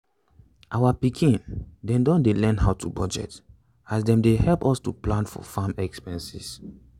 our pikin dem don dey learn how to budget as dem dey help us plan farm expenses.